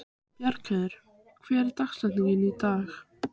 Bjargheiður, hver er dagsetningin í dag?